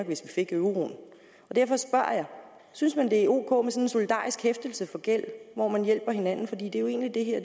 hvis vi fik euroen derfor spørger jeg synes man at det er ok en solidarisk hæftelse for gæld hvor man hjælper hinanden for det er jo egentlig